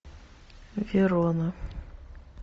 верона